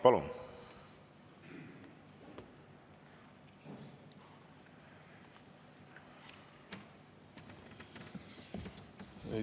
Palun!